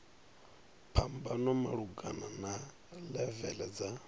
phambano malugana na levele dza